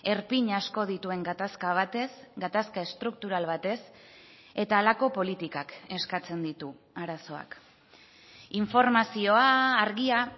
erpin asko dituen gatazka batez gatazka estruktural batez eta halako politikak eskatzen ditu arazoak informazioa argia